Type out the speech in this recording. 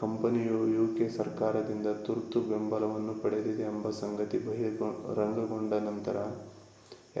ಕಂಪನಿಯು ಯುಕೆ ಸರ್ಕಾರದಿಂದ ತುರ್ತು ಬೆಂಬಲವನ್ನು ಪಡೆದಿದೆ ಎಂಬ ಸಂಗತಿ ಬಹಿರಂಗಗೊಂಡ ನಂತರ